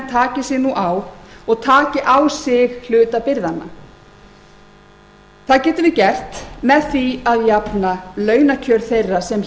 taki sig nú á og taki á sig hluta byrðanna það getum við gert með því að jafna launakjör þeirra sem